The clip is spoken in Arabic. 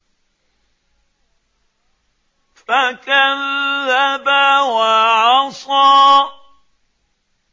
فَكَذَّبَ وَعَصَىٰ